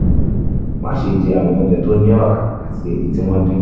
máṣe jẹ àwọn oúnjẹ tó ní ọ̀rá àti èyí tí wọ́n dín